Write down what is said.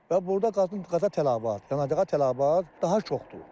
Və burda qazın qaza tələbat, yanacağa tələbat daha çoxdur.